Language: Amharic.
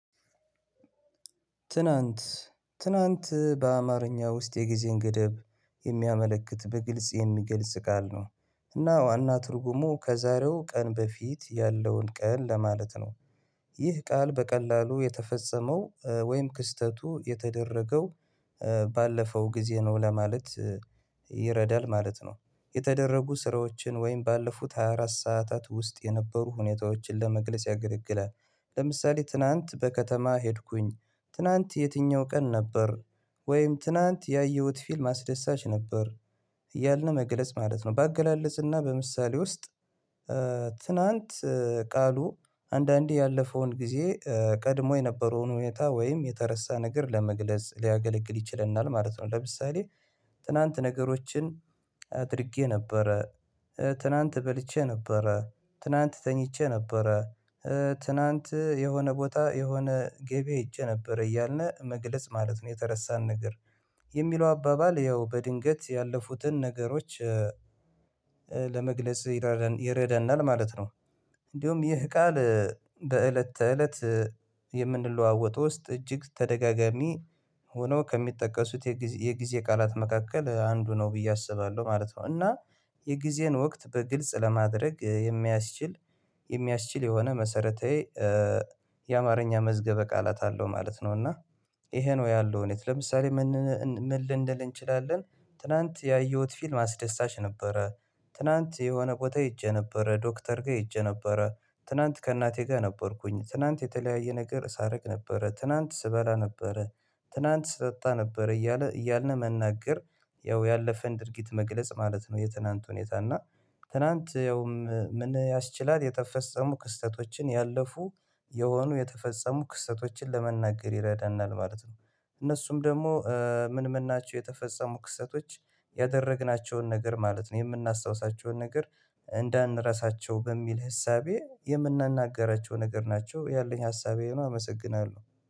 ትናንት ትናንት በአማርኛ ውስጥ የጊዜን ገደብ የሚያመለክት በግልጽ የሚገልጽ ቃል ነው እና ዋና ትርጉሙ ከዛሬው ቀን በፊት ያለውን ቀን ለማለት ነው። ይህ ቃል በቀላሉ የተፈጸመው ወይም ክስተቱ የተደረገው ባለፈው ጊዜ ነው ለማለት ይረዳል ማለት ነው። የተደረጉ ስራዎችን ወይም ባለፉት ሃያ አራት ሰዓታት ውስጥ የነበሩ ሁኔታዎችን ለመግለጽ ያገለግላል። ለምሳሌ ትናንት በከተማ ሄድኩኝ ትናንት የትኛው ቀን ነበር? ወይም ትናንት ያየሁት ፊልም አስደሳች ነበር። እያልነ መግለጽ ማለት ነው ባገላለጽና በምሳሌ ውስጥ ትናንት ቃሉ አንዳንዴ ያለፈውን ጊዜ ቀድሞ የነበረውን ሁኔታ ወይም የተረሳ ነገር ለመግለጽ ሊያገለግል ይችለናል ማለት ነው። ለምሳሌ ትናንት ነገሮችን አድርጌ ነበረ ትናንት በልቼ ነበረ ትናንት ተኝቼ ነበረ ትናንት የሆነ ቦታ የሆነ ገቢ አይቼ ነበር እያልነ መግለጽ ማለት ነው። የተረሳን ነገር የሚለው አባባል ያው በድንገት ያለፉትን ነገሮች ለመግለጽ ይረዳናል ማለት ነው። እንዲሁም ይህ ቃል በእለት ተእለት የምንለዋወጥ ውስጥ እጅግ ተደጋጋሚ ሆኖ ከሚጠቀሱት የጊዜ የጊዜ ቃላት መካከል አንዱ ነው ብዬ አስባለሁ ማለት ነው። እና የጊዜን ወቅት በግልጽ ለማድረግ የሚያስችል የሚያስችል የሆነ መሰረታዊ የአማርኛ መዝገበ ቃላት አለው ማለት ነው። እና ይሄ ነው ያለው እውነት ለምሳሌ መንን ምን ልንል እንችላለን ትላንት ያየሁት ፊልም አስደሳች ነበረ። ትናንት የሆነ ቦታ ሂጄ ነበረ ዶክተር ጋ ሂጄ ነበረ ትናንት ከእናቴ ጋር ነበርኩኝ ትናንት የተለያየ ነገር ሳርቅ ነበረ ትናንት ስበላ ነበረ ትናንት ስጠጣ ነበረ እያለ እያልነ መናገር ያው ያለፈን ድርጊት መግለጽ ማለት ነው። የትናንት ሁኔታ እና ትናንት ያውም ምን ያስችላል የተፈጸሙ ክስተቶችን ያለፉ የሆኑ የተፈጸሙ ክስተቶችን ለመናገር ይረዳናል ማለት ነው። እነሱም ደግሞ ምን ምን ናቸው? የተፈጸሙ ክሰቶች ያደረግናቸውን ነገር ማለት ነው የምናስታውሳቸውን ነገር እንዳንረሳቸው በሚል ህሳቤ የምናናግራቸው ነገር ናቸው ያለኝ ሀሳብ ነው። አመሰግናለሁ